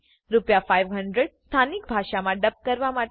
રૂ500 સ્થાનિક ભાષામાં ડબ કરવા માટે